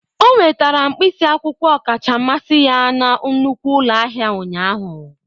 O nwetara mkpịsị akwụkwọ ọkacha mmasị ya na nnukwu ụlọ ahịa ụnyaahụ.